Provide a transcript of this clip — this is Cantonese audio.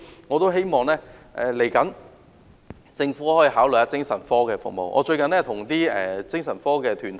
我希望政府考慮公私營合作的精神科服務。